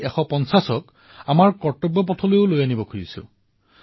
কিন্তু আমি গান্ধী ১৫০ক কৰ্তব্যপথলৈ লৈ যাব বিচাৰিছো